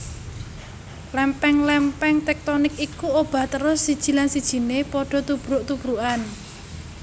Lèmpèng lèmpèng téktonik iku obah terus siji lan sijiné padha tubruk tubrukan